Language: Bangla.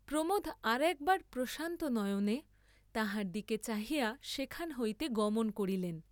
প্রমোদ আর একবার প্রশান্ত নয়নে তাহার দিকে চাহিয়া সেখান হইতে গমন করিলেন।